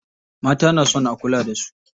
Mata na so a kula da su.